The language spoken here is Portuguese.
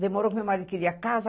Demorou porque meu marido queria casa.